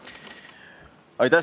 Aitäh!